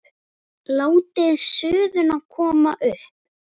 Látið suðuna koma upp.